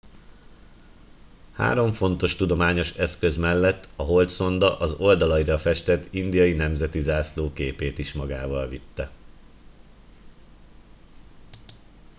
három fontos tudományos eszköz mellett a holdszonda az oldalaira festett indiai nemzeti zászló képét is magával vitte